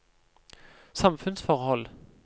samfunnsforhold